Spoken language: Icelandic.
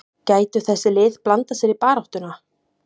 Gætu þessi lið blandað sér í baráttuna?